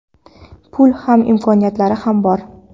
Puli ham, imkoniyatlari ham bor.